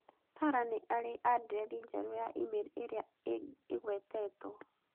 Sarah nĩ arĩ andirethi njerũ ya e-mail ĩrĩa ĩgwetetwo